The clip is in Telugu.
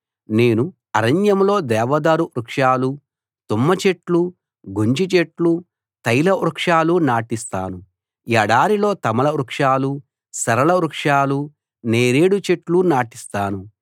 నేను అరణ్యంలో దేవదారు వృక్షాలు తుమ్మచెట్లు గొంజిచెట్లు తైలవృక్షాలు నాటిస్తాను ఎడారిలో తమాల వృక్షాలు సరళ వృక్షాలు నేరేడు చెట్లు నాటిస్తాను